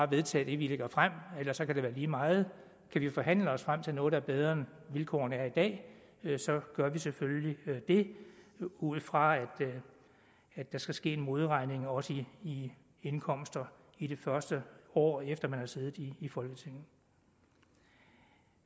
vedtage det vi lægger frem ellers kan det være lige meget kan vi forhandle os frem til noget der er bedre end vilkårene er i dag så gør vi selvfølgelig det ud fra at der skal ske en modregning også i indkomster i det første år efter man har siddet i i folketinget